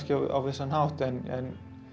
á vissan hátt en